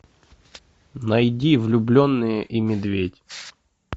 найди влюбленные и медведь